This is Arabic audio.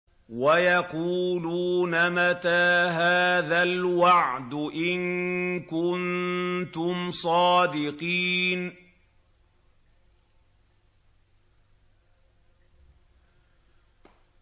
وَيَقُولُونَ مَتَىٰ هَٰذَا الْوَعْدُ إِن كُنتُمْ صَادِقِينَ